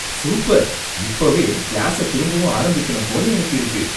Super! இப்பவே கிளாஸ திரும்பவும் ஆரம்பிக்கணும் போல எனக்கு இருக்கு.